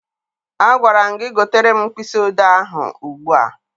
Agwara m gị gotere m mkpịsị odee ahụ ugbu a!